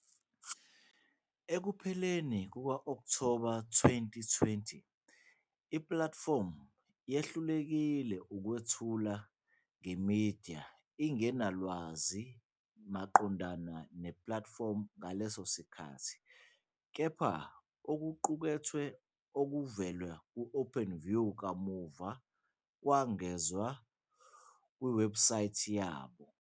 Ekupheleni kuka-Okthoba 2020, ipulatifomu yehlulekile ukwethula nge-eMedia ingenalwazi maqondana nepulatifomu ngaleso sikhathi kepha okuqukethwe okuvela ku-Openview kamuva kwengezwa kuwebhusayithi yabo.